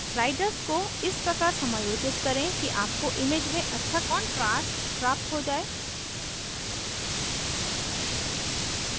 sliders को इस प्रकार समायोजित करें कि आपको image में अच्छा contrast प्राप्त हो जाए